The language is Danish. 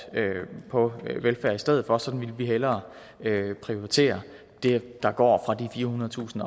på velfærd i stedet for sådan ville vi hellere prioritere det der går fra de firehundredetusind